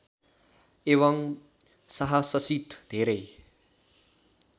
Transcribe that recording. एवं साहससित धेरै